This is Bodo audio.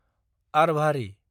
आरभारि